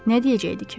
Nə deyəcəkdi ki?